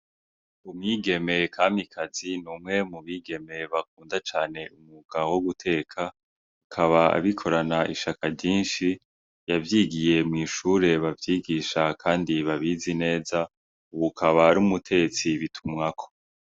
Umwiigeme Kamikazi n'umwe mu bigeme bakunda cane umwuga wo guteka akaba abikorana ishaka ryinshi yavyigiye mw'ishure bavyigisha kandi babizi neza ubu akaba ari umutetsi bitumwako.